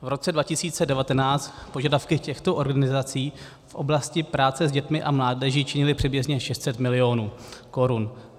V roce 2019 požadavky těchto organizací v oblasti práce s dětmi a mládeží činily přibližně 600 milionů korun.